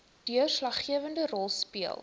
deurslaggewende rol speel